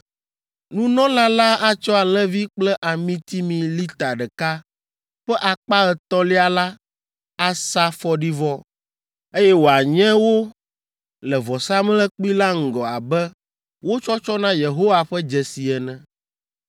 Nunɔla la atsɔ alẽvi kple amitimi lita ɖeka ƒe akpa etɔ̃lia la asa fɔɖivɔ, eye wòanye wo le vɔsamlekpui la ŋgɔ abe wo tsɔtsɔ na Yehowa ƒe dzesi ene.